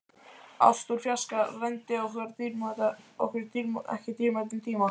Ást úr fjarska rændi okkur ekki dýrmætum tíma.